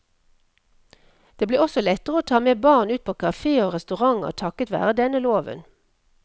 Det blir også lettere å ta med barn ut på kaféer og restauranter takket være denne loven.